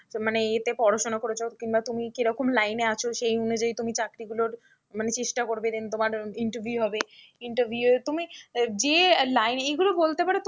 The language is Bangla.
মানে এতে পড়াশোনা করেছো কিংবা তুমি কিরকম line এ আছো সেই অনুযায়ী তুমি চাকরিগুলোর মানে চেষ্টা করবে then তোমার interview হবে, interview এ তুমি যে line এগুলো বলতে পারো তুমি,